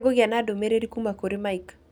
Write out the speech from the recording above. Nĩngũgĩa na ndũmĩrĩri kuma kũrĩ Mike